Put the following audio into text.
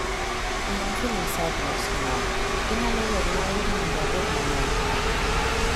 i am feeling sad right now inyalo werna wende mondo abed mamor